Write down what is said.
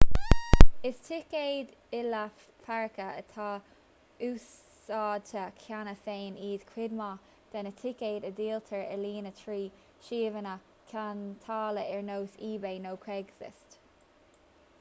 is ticéid il-lá páirce atá úsáidte cheana féin iad chuid mhaith de na ticéid a dhíoltar ar líne trí shuíomhanna ceantála ar nós ebay nó craigslist